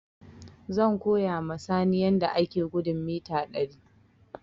Zan koya ma Sani yadda ake gudun mita ɗari